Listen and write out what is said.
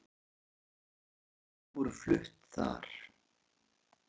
Þrjú erindi voru flutt þar